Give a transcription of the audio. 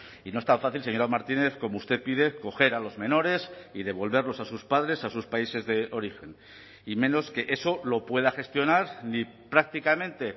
y no es tan fácil señora martínez como usted pide coger a los menores y devolverlos a sus padres a sus países de origen y menos que eso lo pueda gestionar ni prácticamente